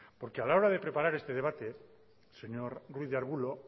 porque a la hora de preparar este debate señor ruiz de arbulo